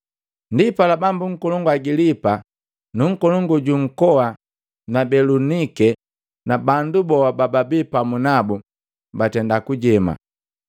Ndipala Bambu nkolongu Agilipa na nkolongu ju nkoa na Belunike na bandu boa bababi pamu nabu, batenda kujema.